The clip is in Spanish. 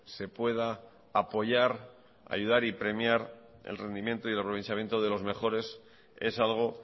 se pueda apoyar ayudar y premiar el rendimiento y el aprovechamiento de los mejores es algo